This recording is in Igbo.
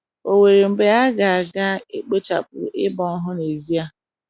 Ò nwere mgbe a ga - a ga - ekpochapụ ịgba ohu n’ezie?